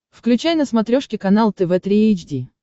включай на смотрешке канал тв три эйч ди